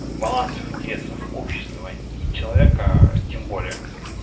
балансов интересов общества и человека тем более